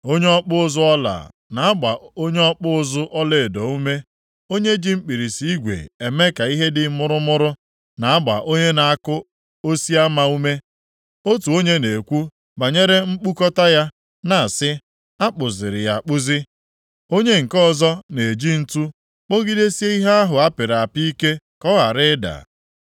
Onye ọkpụ ụzụ ọla na-agba onye ọkpụ ụzụ ọlaedo ume. Onye ji mkpirisi igwe eme ka ihe dị mụrụmụrụ, na-agba onye na-akụ osiama ume. Otu onye na-ekwu banyere nkpukọta ya, na-asị, “A kpụziri ya akpụzi.” Onye nke ọzọ, na-eji ǹtu kpọgidesie ihe ahụ apịrị apị ike ka ọ ghara ịda.